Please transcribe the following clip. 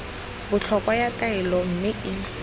botlhokwa ya taolo mme e